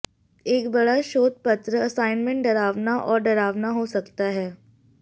एक बड़ा शोध पत्र असाइनमेंट डरावना और डरावना हो सकता है